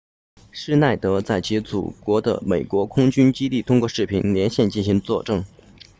施耐德 schneider 在其祖国的美国空军 usaf 基地通过视频连线进行作证